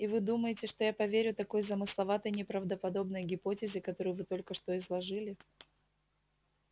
и вы думаете что я поверю такой замысловатой неправдоподобной гипотезе которую вы только что изложили